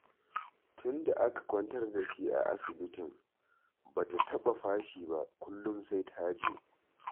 Tunda aka kwantar da shi a asibitin ba ta taɓa fashi ba, kullum sai ta je